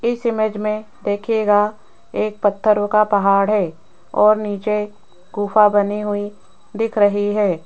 इस इमेज में देखिएगा एक पत्थरों का पहाड़ है और नीचे गुफा बनी हुई दिख रही है।